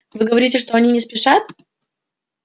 вы говорите что они не спешат